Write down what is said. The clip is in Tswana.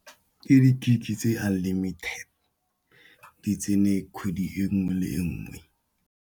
Ke di-gig tse unlimited, di tsene kgwedi e nngwe le nngwe.